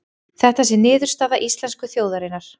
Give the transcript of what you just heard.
Þetta sé niðurstaða íslensku þjóðarinnar